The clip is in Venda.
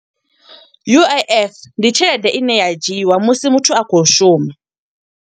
U_I_F ndi tshelede ine ya dzhiiwa musi muthu a khou shuma.